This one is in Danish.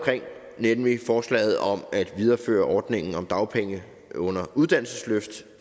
nemlig forslaget om at videreføre ordningen om dagpenge under uddannelses løft